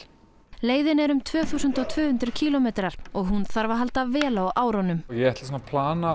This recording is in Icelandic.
leiðin er um tvö þúsund og tvö hundruð kílómetrar og hún þarf að halda vel á árunum ég er að plana